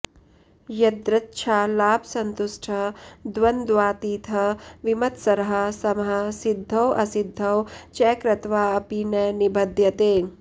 यदृच्छालाभसन्तुष्टः द्वन्द्वातीतः विमत्सरः समः सिद्धौ असिद्धौ च कृत्वा अपि न निबध्यते